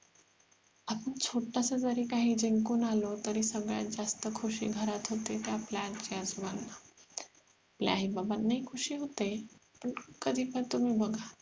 आपण छोटस जरी काही जिंकून आलो तरी सगळ्यात जास्त खुशी घरात होते ती आपल्या आजी आजोबांना आपल्या आई बाबांना ही खुशी होते पण कधीपण तुम्ही बघा